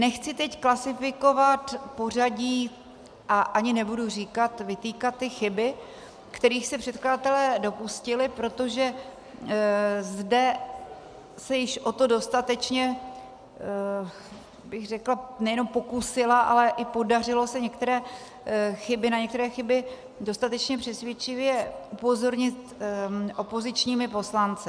Nechci teď klasifikovat pořadí a ani nebudu říkat, vytýkat ty chyby, kterých se předkladatelé dopustili, protože zde se již o to dostatečně, bych řekla, nejenom pokusila, ale i podařilo se na některé chyby dostatečně přesvědčivě upozornit opozičními poslanci.